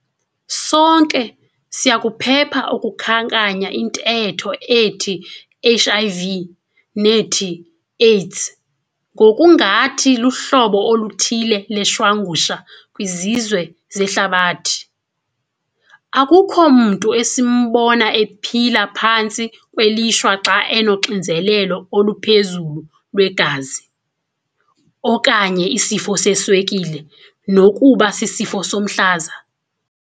Sonke siyakuphepha ukukhankanya intetho ethi HIV nethi AIDS - ngokungathi luhlobo oluthile leshwangusha kwizizwe zehlabathi. Akukho mntu esimbona ephila phantsi kwelishwa xa enoxinzelelo oluphezulu lwegazi, okanye isifo seswekile nokuba sisifo somhlaza.